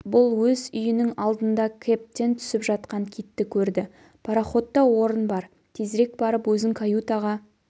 бұл өз үйінің алдында кэбтен түсіп жатқан китті көрді пароходта орын бар тезірек барып өзің каютаға